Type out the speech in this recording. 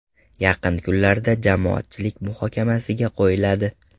Yaqin kunlarda jamoatchilik muhokamasiga qo‘yiladi.